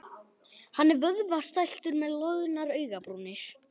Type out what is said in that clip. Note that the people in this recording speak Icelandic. Hann er vöðvastæltur með loðnar augnabrúnir.